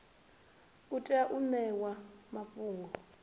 u tea u ṋewa mafhungo